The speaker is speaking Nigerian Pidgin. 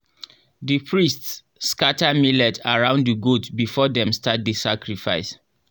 the priests scatter millet around the goat before dem start the sacrifice.